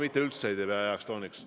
Ma ei pea seda üldse heaks tooniks.